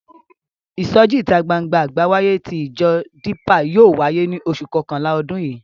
Ìsọjí ìta gbangba àgbáyé tí ìjọ Dípà yóò wáyé ní oṣù kọkànlá ọdún yìí.